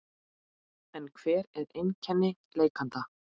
En hver eru einkenni lekanda?